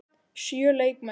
Sjö leikmenn?